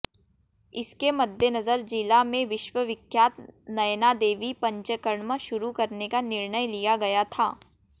इसके मद्देनजर जिला में विश्वविख्यात नयनादेवी पंचकर्म शुरू करने का निर्णय लिया गया था